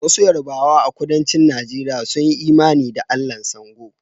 Wasu Yarbawa a Kudancin Najeriya sun yi imani da Allahn Sango